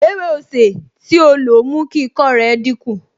Ewé osè tí ó lo mú kí ikọ́ rẹ̀ dínkù